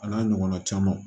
A n'a ɲɔgɔnna camanw